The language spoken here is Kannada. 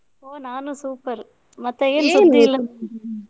ಓ ನಾನು super ಮತ್ತೆ ಸುದ್ದಿಇಲ್ಲ?